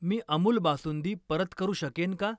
मी अमूल बासुंदी परत करू शकेन का?